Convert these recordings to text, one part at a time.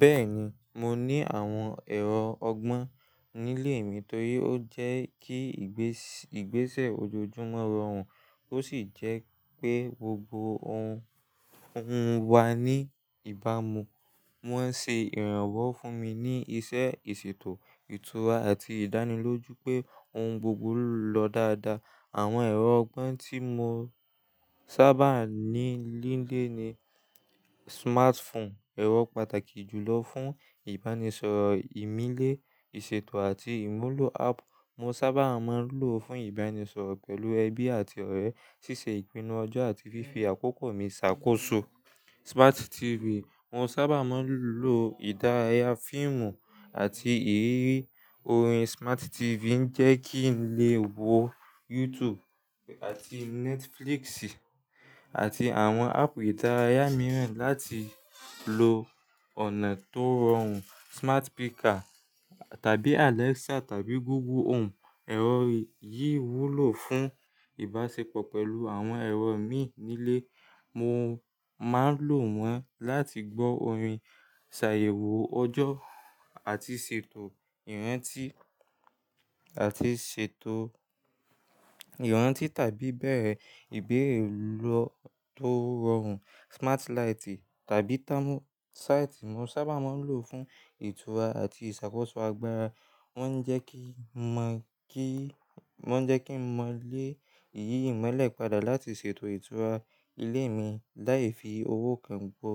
Bẹ́ẹ̀ni, mo ní àwọn ẹ̀rọ ọgbọ́n nílé mi torí ó jẹ́ kí ìgbésẹ̀ ojoojúmọ́ rọrùn ó sì jẹ́ pé gbogbo ohun wà ní ìbámu. Wọ́n ṣe ìrànwọ́ fún mi ní iṣẹ́ ìṣètò, ìtura àti ìdánilójú pé ohun gbogbo lọ dáadáa. Àwọn ẹ̀rọ ọgbọ́n tí mo sábà ní nílé ni smartphone, ẹ̀rọ pàtàkì jùlọ fún ìbánisọ̀rọ̀ ìmílẹ̀, ìṣètò àti ìmúlò app. Mo sábà máa ń lò ó fún ìbánisọ̀rọ̀ pẹ̀lú ẹbí àti ọ̀rẹ́, ṣíṣe ìpinnu ọjọ́ àti fífi àkókò mi ṣàkóso. Smart TV, mo sábà máa ń lò ìdárayá fíìmù àti eré orin. Smart TV ń jẹ́ kí n lè wo YouTube àti Netflix àti àwọn áàpù ìdárayá mìíràn láti lo ọ̀nà tó rọrùn. Smart speaker tàbí Alexa tàbí Google Home, ẹ̀rọ yìí wúlò fún ìbáṣepọ̀ pẹ̀lú àwọn ẹ̀rọ mi nílé. Mo máa ń lò wọ́n láti gbọ́ orin, ṣàyẹ̀wò ọjọ́ àti ṣètò ìrántí tàbí bẹ́ẹ̀ ìbéèrè tó rọrùn. Smart light tàbí thermostat mo sábà máa ń lò fún ìtura àti ìṣàkóso agbára. Wọ́n ń jẹ́ kí mo lè yí ìmọ́lẹ̀ padà láti ṣètò ìtura ilé mi láì fi owó kan bo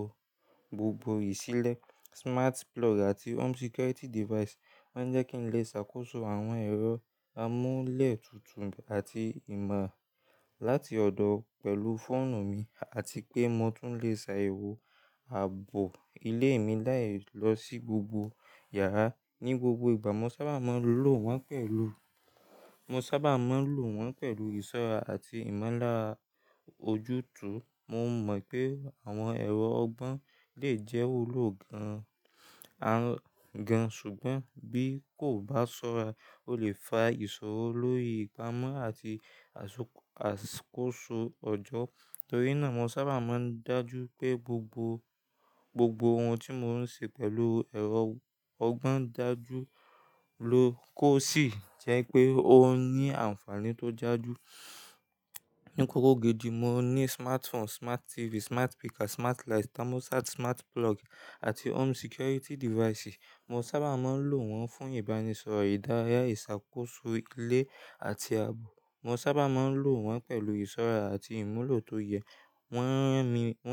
gbogbo ìṣílẹ̀. Smart plug àti home security device, wọ́n ń jẹ́ kí n lè ṣàkóso àwọn ẹ̀rọ amúlẹ̀ tuntun àti ìmọ̀ láti ọ̀dọ̀ pẹ̀lú fóònù mi àti pé mo tún lè ṣàyẹ̀wò ààbò ilé mi láì lọ sí gbogbo yàrá ní gbogbo ìgbà. Mo sábà máa ń lò wọ́n pẹ̀lú ìṣọ́ra àti ìmọ̀lá ojútùú. Mo mọ̀ pé àwọn ẹ̀rọ ọgbọ́n lè jẹ́ olóògan gan, ṣùgbọ́n bí kò bá ṣọ́ra, ó lè fa ìṣòro lórí ìpámo àti àkoso ọjọ́. Torí náà mo sábà máa ń dájú pé gbogbo ohun tí mò ń ṣe pẹ̀lú ẹ̀rọ ọgbọ́n dájú ló kó sì jẹ́ pé ó ń ní àǹfààní tó daju. Ní kọ́rọ́ gidí mo ní smartphone, Smart TV, smart speaker, smart light, thermostat, smart plug àti home security device. Mo sábà máa ń lò wọ́n fún ìbánisọ̀rọ̀, ìdárayá, ìṣàkóso ilé àti ààbò. Mo sábà máa ń lò wọ́n pẹ̀lú ìṣọ́ra àti ìmúlò tó yẹ. Wọ́n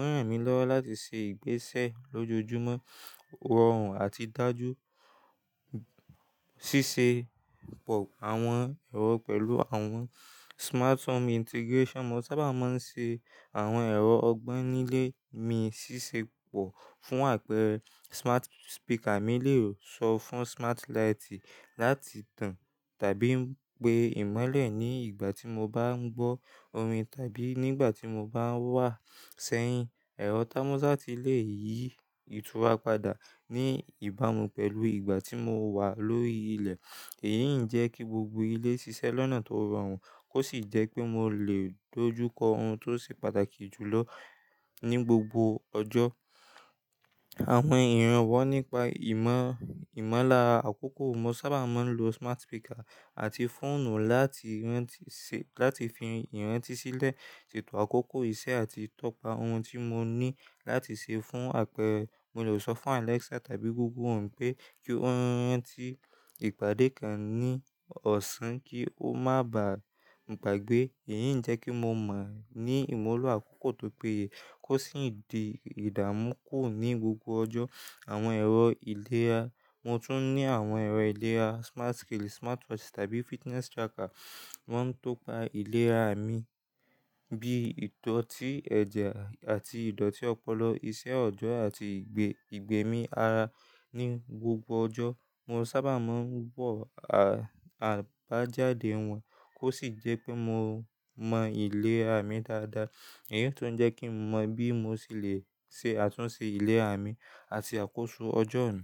ran mi lọ́wọ́ láti ṣe ìgbésẹ̀ lójoojúmọ́ rọrùn àti dájú. Ṣíṣe pọ̀ àwọn ẹ̀rọ pẹ̀lú àwọn smart home integration, mo sábà máa ń ṣe àwọn ẹ̀rọ ọgbọ́n nílé mi ṣíṣe pọ̀ fún àpẹẹrẹ smart speaker mi lè sọ fún smart light láti tàn tàbí pé ìmọ́lẹ̀ ní ìgbà tí mo bá ń gbọ́ orin tàbí nígbà tí mo bá wà sẹ́yìn. Ẹ̀rọ thermostat lè yí ìtura padà ní ìbámu pẹ̀lú ìgbà tí mo wà lórí ilẹ̀. Èyí ń jẹ́ kí gbogbo ilé ṣiṣẹ́ lọ́nà tó rọrùn kó sì jẹ́ pé mo lè dojúkọ ohun tó ṣe pàtàkì jùlọ ní gbogbo ọjọ́. Àwọn ìrànwọ́ nípa ìmọ̀lá àkókò, mo sábà máa ń lo smart speaker àti fóònù láti fi ìrántí sílẹ̀, ṣètò àkókò iṣẹ́ àti tọpa ohun tí mo ní láti ṣe fún àpẹẹrẹ mo lè sọ fún Alexa tàbí Google Home pé kí ó rántí ìpàdé kan ní ọ̀sán kí ó má bà gbagbé. Èyí ń jẹ́ kí mo mọ̀ ní ìmúlò àkókò tó péye kó sì din ìdámúku ní gbogbo ọjọ́. Àwọn ẹ̀rọ ìlera, mo tún ní àwọn ẹ̀rọ ìlera, smart scale, smartwatch tàbí fitness tracker. Wọ́n ń tọpa ìlera mi bí i ìdọ̀tí ẹ̀jẹ̀ àti ìdọ̀tí ọpọlọ, iṣẹ́ ọjọ́ àti ìgbẹ́ mi ara ní gbogbo ọjọ́. Mo sábà máa ń wo àbájáde wọn kó sì jẹ́ pé mo mọ ìlera mi dáadáa. Èyí ló ń jẹ́ kí mo mọ bí mo ṣe lè túnṣe ìlera mi àti àkóso ọjọ́ mi.